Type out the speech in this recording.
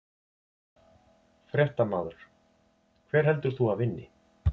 Fréttamaður: Hver heldur þú að vinni?